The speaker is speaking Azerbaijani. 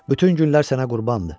Bütün güllər sənə qurbandı.